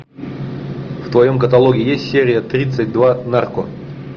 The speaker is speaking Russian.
в твоем каталоге есть серия тридцать два нарко